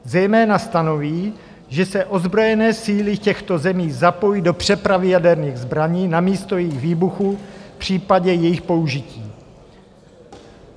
Zejména stanoví, že se ozbrojené síly těchto zemí zapojí do přepravy jaderných zbraní na místo jejich výbuchu v případě jejich použití.